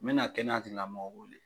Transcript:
Me na kɛnɛyatigilamɔgɔw wele